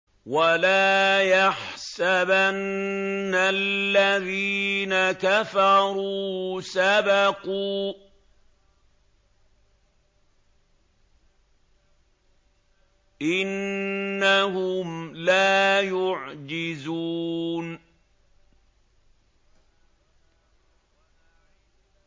وَلَا يَحْسَبَنَّ الَّذِينَ كَفَرُوا سَبَقُوا ۚ إِنَّهُمْ لَا يُعْجِزُونَ